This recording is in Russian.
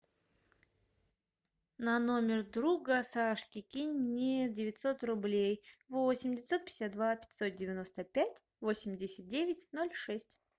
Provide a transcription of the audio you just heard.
на номер друга сашки кинь мне девятьсот рублей восемь девятьсот пятьдесят два пятьсот девяносто пять восемьдесят девять ноль шесть